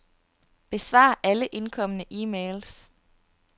Besvar alle indkomne e-mails.